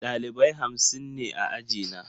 Ɗalibai hamsin ne a ajina.